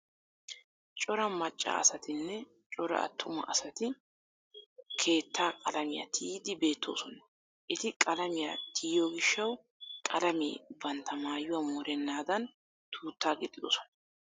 Cora macca asatinne cora attuma asati kwwttaa qalamiya tiyiiddi beettoosona. Eti qalamiya tiyiyo gishshawu qalamee bantta maayuwa morennaadan tuuttaa gixxidosona.